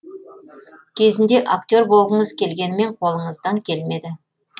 кезінде актер болғыңыз келгенімен қолыңыздан келмеді